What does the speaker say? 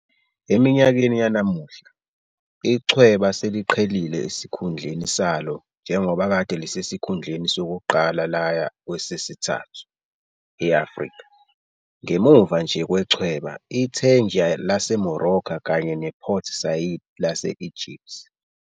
Eminyakeni yanamuhla, ichweba seliqhelile esikhundleni salo njengoba kade lisesikhundleni sokuqala laya kwesesithathu e-Afrika, ngemuva nje kwechweba i-Tangier lase-Morocco kanye ne-Port Said lase-Egypt.